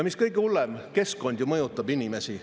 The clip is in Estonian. Mis kõige hullem, keskkond ju mõjutab inimesi.